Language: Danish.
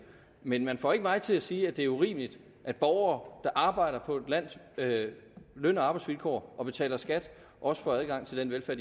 men man får ikke mig til at sige at det er urimeligt at borgere der arbejder på et lands løn og arbejdsvilkår og betaler skat også får adgang til den velfærd